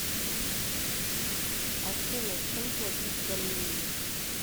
афина чем платить в армении